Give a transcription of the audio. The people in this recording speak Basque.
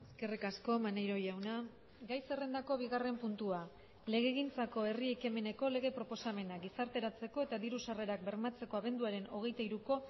eskerrik asko maneiro jauna gai zerrendako bigarren puntua legegintzako herri ekimeneko lege proposamena gizarteratzeko eta diru sarrerak bermatzeko abenduaren hogeita hiruko